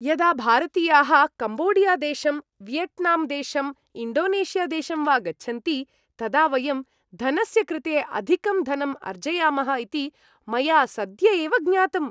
यदा भारतीयाः कम्बोडियादेशं, वियट्नाम्देशं, इण्डोनेशियादेशं वा गच्छन्ति तदा वयं धनस्य कृते अधिकं धनम् अर्जयामः इति मया सद्य एव ज्ञातम्।